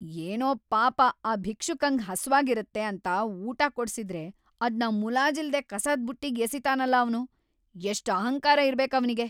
ಏನೋ ಪಾಪ ಆ ಭಿಕ್ಷುಕಂಗ್‌ ಹಸ್ವಾಗಿರತ್ತೆ ಅಂತ ಊಟ ಕೊಡ್ಸಿದ್ರೆ ಅದ್ನ ಮುಲಾಜಿಲ್ದೇ ಕಸದ್‌ ಬುಟ್ಟಿಗ್‌ ಎಸಿತಾನಲ ಅವ್ನು, ಎಷ್ಟ್‌ ಅಹಂಕಾರ ಇರ್ಬೇಕ್‌ ಅವ್ನಿಗೆ!